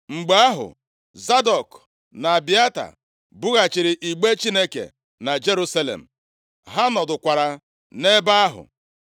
Mgbe ahụ, Zadọk na Abịata bughachiri igbe Chineke na Jerusalem. Ha nọdụkwara nʼebe ahụ.